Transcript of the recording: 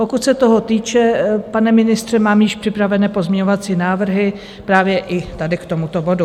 Pokud se toho týče, pane ministře, mám již připravené pozměňovací návrhy právě i tady k tomuto bodu.